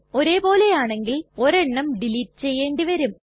ഒരേ പോലെയാണെങ്കിൽ ഒരെണ്ണം ഡിലീറ്റ് ചെയ്യേണ്ടി വരും